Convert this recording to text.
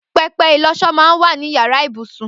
Pẹpẹ ilọṣọ mà n wà ninú iyàrá ibúsún